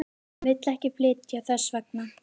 Hún vill ekki flytja þess vegna.